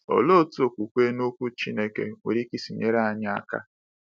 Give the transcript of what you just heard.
Olee otu okwukwe n’Okwu Chineke nwere ike isi nyere anyị aka?